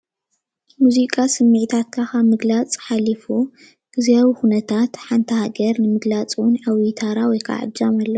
ሙዚቃ ስምዒታትካ ካብ ምግላፅ ሓሊፉ ግዝያዊ ኩነታት ሓንቲ ሃገር ንምግላፅ ውን ዓብይ ተራ ወይ እጃም አለዎ።